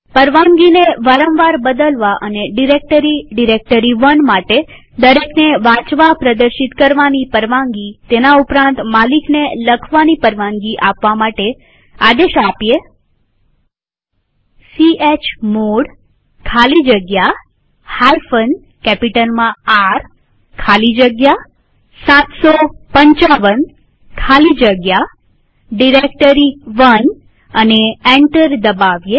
પરવાનગીને વારંવાર બદલવા અને ડિરેક્ટરી ડાયરેક્ટરી1 માટે દરેકને વાંચવાની પ્રદર્શિત કરવાની પરવાનગીતેના ઉપરાંત માલિકને લખવાની પરવાનગી આપવા માટે આદેશ ચમોડ ખાલી જગ્યા કેપિટલમાંR ખાલી જગ્યા 755 ખાલી જગ્યા ડાયરેક્ટરી1 લખીએ અને એન્ટર દબાવીએ